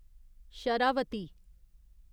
Sharavati